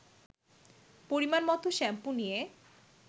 পরিমাণমতো শ্যাম্পু নিয়ে